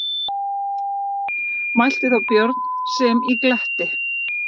Mælti þá Björn sem í gletti